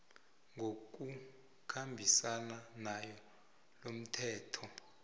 ngokukhambisana nawo lomthetho